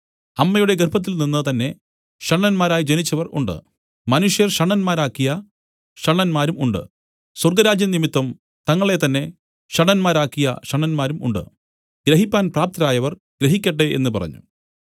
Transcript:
അമ്മയുടെ ഗർഭത്തിൽനിന്ന് തന്നെ ഷണ്ഡന്മാരായി ജനിച്ചവർ ഉണ്ട് മനുഷ്യർ ഷണ്ഡന്മാരാക്കിയ ഷണ്ഡന്മാരും ഉണ്ട് സ്വർഗ്ഗരാജ്യം നിമിത്തം തങ്ങളെത്തന്നെ ഷണ്ഡന്മാരാക്കിയ ഷണ്ഡന്മാരും ഉണ്ട് ഗ്രഹിപ്പാൻ പ്രാപ്തരായവർ ഗ്രഹിക്കട്ടെ എന്നു പറഞ്ഞു